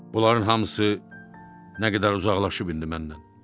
Buların hamısı nə qədər uzaqlaşıb indi məndən.